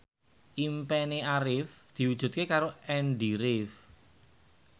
impine Arif diwujudke karo Andy rif